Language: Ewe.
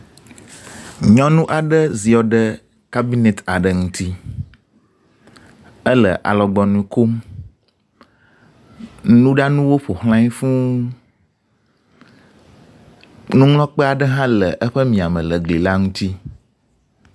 Nyɔnu aɖe ziɔ ɖe cabinet aɖe ŋuti ele alɔgbɔnu kom. Nuɖanuwo ƒoxlae fuu. Nuŋlɔkpe aɖe le eƒe miame le gli la ŋuti.